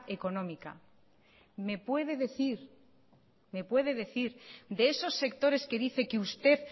económica me puede decir me puede decir de esos sectores que dice que usted